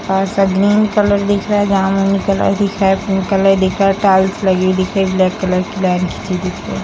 green colour दिख रहा है जमुनी कलर दिख रहा है कलर दिख रहा है | टाइल्स लगी हुई दिख रही है ब्लैक कलर की लाइन खींची हुई दिख रही है |